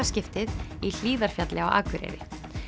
skiptið í Hlíðarfjalli á Akureyri